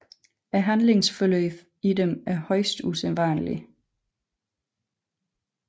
Handlingsforløbene i dem er højst usandsynlige